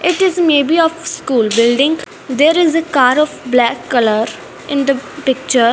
it is maybe of school building there is a car of black colour in the picture.